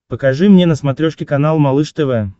покажи мне на смотрешке канал малыш тв